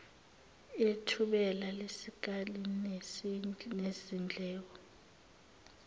ithebula lesikali sezindleko